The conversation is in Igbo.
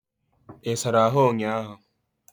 I sara ahu unyiahu?